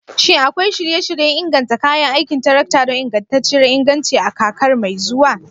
Shin akwai shirye-shiryen inganta kayan aikin tarakta don ingantacciyar inganci a kakar mai zuwa?